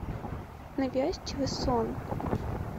навязчивый сон